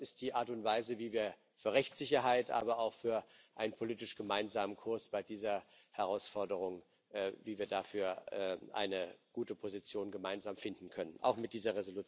Ich glaube, das ist die Art und Weise, wie wir für Rechtssicherheit, aber auch für einen politisch gemeinsamen Kurs bei dieser Herausforderung sorgen und wie wir dafür gemeinsam eine gute Position finden können auch mit dieser Entschließung.